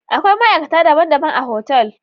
Akwai ma'aikata daban-daban a otal.